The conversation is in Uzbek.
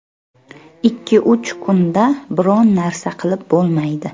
Ikki uch kunda biron narsa qilib bo‘lmaydi.